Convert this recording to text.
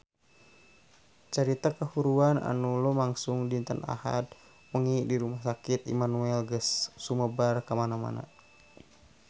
Carita kahuruan anu lumangsung dinten Ahad wengi di Rumah Sakit Immanuel geus sumebar kamana-mana